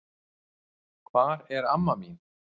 Hvar er amma þín?